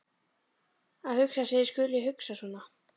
Að hugsa sér að ég skuli hugsa svona!